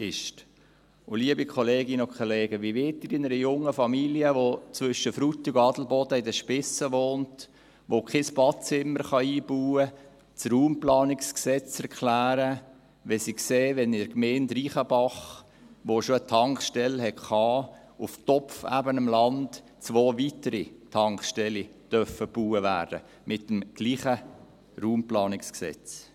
Und wie wollen Sie das RPG einer jungen Familie erklären, die zwischen Frutigen und Adelboden in den Spiessen wohnt und kein Badezimmer einbauen kann, wenn sie sieht, dass mit demselben RPG in der Gemeinde Reichenbach, die schon eine Tankstelle hatte, zwei weitere Tankstellen auf topfebenem Land gebaut werden dürfen?